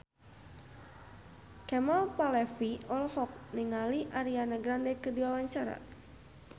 Kemal Palevi olohok ningali Ariana Grande keur diwawancara